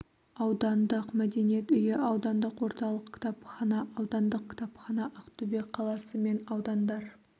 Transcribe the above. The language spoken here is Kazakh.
аудандық мәдениет үйі аудандық орталық кітапхана аудандық кітапхана ақтөбе қаласы мен аудандар